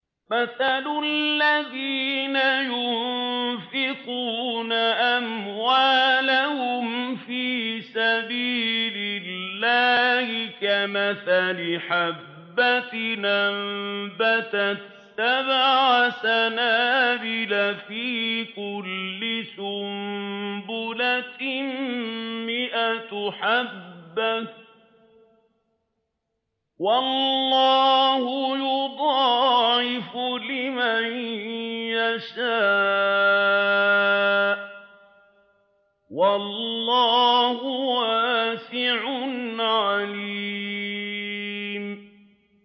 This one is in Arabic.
مَّثَلُ الَّذِينَ يُنفِقُونَ أَمْوَالَهُمْ فِي سَبِيلِ اللَّهِ كَمَثَلِ حَبَّةٍ أَنبَتَتْ سَبْعَ سَنَابِلَ فِي كُلِّ سُنبُلَةٍ مِّائَةُ حَبَّةٍ ۗ وَاللَّهُ يُضَاعِفُ لِمَن يَشَاءُ ۗ وَاللَّهُ وَاسِعٌ عَلِيمٌ